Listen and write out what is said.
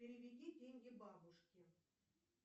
переведи деньги бабушке